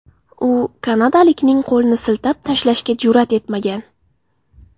U kanadalikning qo‘lini siltab tashlashga jur’at etmagan.